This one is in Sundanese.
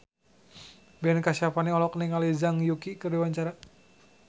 Ben Kasyafani olohok ningali Zhang Yuqi keur diwawancara